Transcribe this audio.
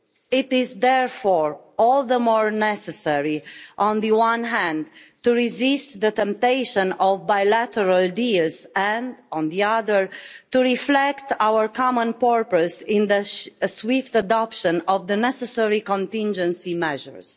It is, therefore, all the more necessary on the one hand to resist the temptation of bilateral deals and, on the other, to reflect our common purpose in the swift adoption of the necessary contingency measures.